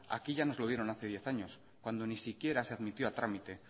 aquí ya nos lo dieron hace diez años cuando ni siquiera se admitió a trámite